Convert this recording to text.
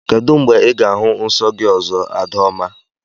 Kedụ mgbe Ị ga-ahụ nsọ gị ọzọ, Adaoma?